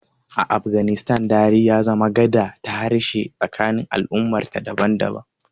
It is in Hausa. A Afganistan, Dari ya zama gada ta harshe tsakanin al'ummarta daban-daban.